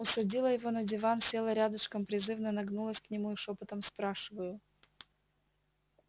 усадила его на диван села рядышком призывно нагнулась к нему и шёпотом спрашиваю